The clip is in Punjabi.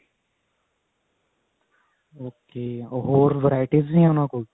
okay ਹੋਰ varieties ਵੀ ਨੇ ਉਹਨਾ ਕੋਲ